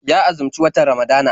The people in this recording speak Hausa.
Ya azumci watan Ramadana.